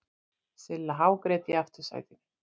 Silla hágrét í aftursætinu.